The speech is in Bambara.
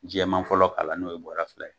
Jɛman fɔlɔ kalan n'o ye bɔra fila ye